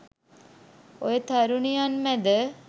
ඔය තරුණියන් මැද